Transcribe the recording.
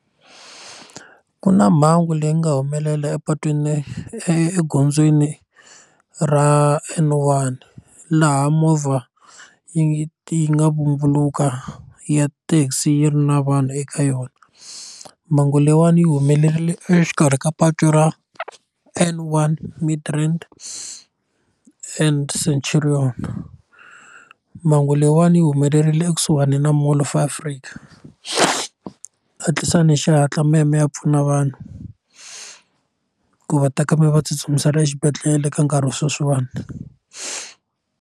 Ku na mhangu leyi nga humelela epatwini egondzweni ra N1 laha movha yi yi nga vumbuluka ya taxi yi ri na vanhu eka yona mhangu leyiwani yi humelerile exikarhi ka patu ra N1 Midrand and Centurion mhangu leyiwani yi humelerile ekusuhani na Mall of Africa hatlisani hi xihatla mi ya mi ya pfuna vanhu ku va ta va va tsutsumisela exibedhlele ka nkarhi wa sweswiwani.